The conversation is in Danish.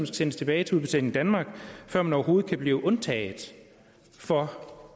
sendes tilbage til udbetaling danmark før man overhovedet kan blive undtaget for